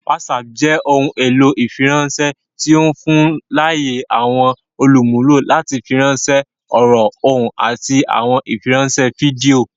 WhatsApp jẹ ohun elo fifiranṣẹ ti o fun laaye awọn olumulo lati firanṣẹ ọrọ, ohun, ati awọn ifiranṣẹ fidio.